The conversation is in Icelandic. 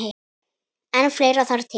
En fleira þarf til.